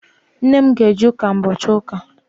Nne m ga-eje ụka ụbochị ụka.